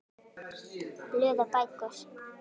Blöð og bækur